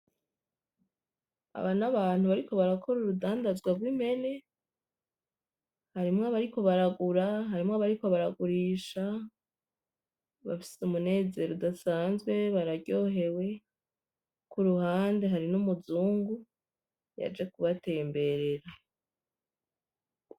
Aba n'Abantu bariko barakora urudandazwa rw'Impene, harimwo abariko baragura, harimwo abariko baragurisha bafise Umunezero udasanzwe bararyohewe kuruhande hariho Umuzungu yaje kubatemberera.